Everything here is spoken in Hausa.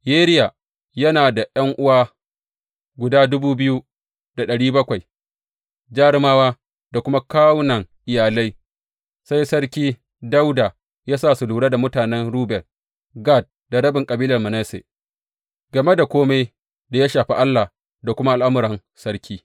Yeriya yana da ’yan’uwa guda dubu biyu da ɗari bakwai, jarumawa da kuma kawunan iyalai, sai Sarki Dawuda ya sa su lura da mutanen Ruben, Gad da rabin kabilar Manasse game da kome da ya shafi Allah da kuma al’amuran sarki.